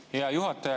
Hea juhataja!